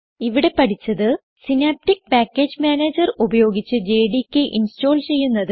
ഇവിടെ പഠിച്ചത് synaptic package manager ഉപയോഗിച്ച് ജെഡികെ ഇൻസ്റ്റോൾ ചെയ്യുന്നത്